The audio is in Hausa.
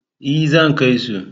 E, zan kai su.